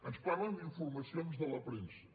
ens parlen d’informacions de la premsa